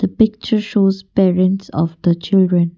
the picture shows parents of the children.